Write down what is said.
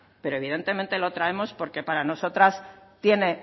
pero evidentemente lo traemos porque para nosotras tiene